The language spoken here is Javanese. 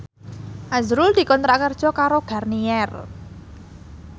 azrul dikontrak kerja karo Garnier